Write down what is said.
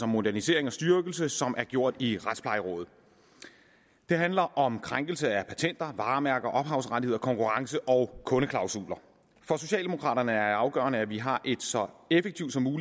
modernisering og styrkelse som er gjort i retsplejerådet det handler om krænkelse af patenter varemærker ophavsrettigheder konkurrence og kundeklausuler for socialdemokraterne er det afgørende at vi har et så effektivt